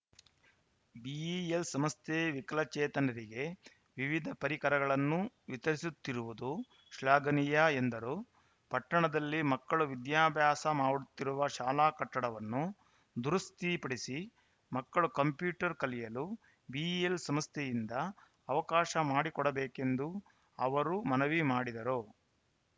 BEL ಸಂಸ್ಥೆ ವಿಕಲಚೇತನರಿಗೆ ವಿವಿಧ ಪರಿಕರಗಳನ್ನು ವಿತರಿಸುತ್ತಿರುವುದು ಶ್ಲಾಘನೀಯ ಎಂದರು ಪಟ್ಟಣದಲ್ಲಿ ಮಕ್ಕಳು ವಿದ್ಯಾಭ್ಯಾಸ ಮಾಡುತ್ತಿರುವ ಶಾಲಾ ಕಟ್ಟಡವನ್ನು ದುರಸ್ತಿಪಡಿಸಿ ಮಕ್ಕಳು ಕಂಪ್ಯೂಟರ್‌ ಕಲಿಯಲು ಬಿಇಎಲ್‌ ಸಂಸ್ಥೆಯಿಂದ ಅವಕಾಶ ಮಾಡಿಕೊಡಬೇಕೆಂದು ಅವರು ಮನವಿ ಮಾಡಿದರು